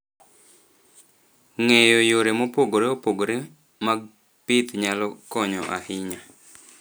Ng'eyo yore mopogore opogore mag pith nyalo konyo ahinya.